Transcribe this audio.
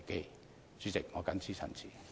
代理主席，我謹此陳辭。